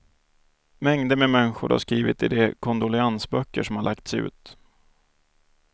Mängder med människor har skrivit i de kondoleansböcker som har lagts ut.